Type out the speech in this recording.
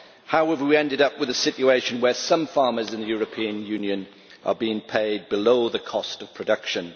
How have we ended up with a situation where some farmers in the European Union are being paid below the cost of production?